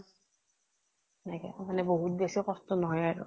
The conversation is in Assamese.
সেনেকে বহুত বেছি কষ্ট নহয় আৰু।